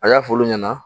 A y'a f'olu ɲɛna